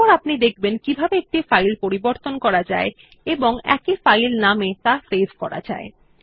এরপর আপনি দেখবেন কিভাবে একটি ফাইল পরিবর্তন করা যায় এবং একই ফাইল নাম এ ত়া সেভ করা যায়